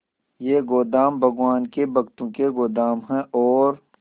ये गोदाम भगवान के भक्तों के गोदाम है और